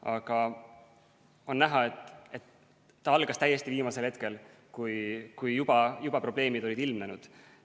Aga on näha, et see algas täiesti viimasel hetkel, kui juba probleemid olid ilmnenud.